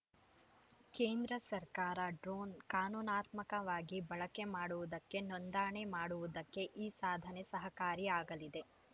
ಕೇಂದ್ರ ಸರ್ಕಾರ ಡ್ರೋನ್‌ ಕಾನೂನಾತ್ಮಕವಾಗಿ ಬಳಕೆ ಮಾಡುವುದಕ್ಕೆ ನೋಂದಣೆ ಮಾಡುವುದಕ್ಕೆ ಈ ಸಾಧನೆ ಸಹಕಾರಿ ಆಗಲಿದೆ